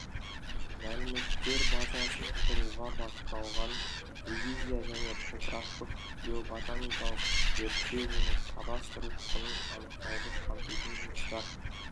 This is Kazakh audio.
мәліметтер базасын құруға бағытталған ревизия және топырақтық геоботаникалық зерттеу оның кадастрлық құнын анықтауды қамтитын жұмыстар